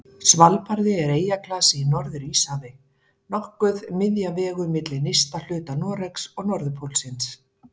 Svalbarði er eyjaklasi í Norður-Íshafi, nokkuð miðja vegu milli nyrsta hluta Noregs og norðurpólsins.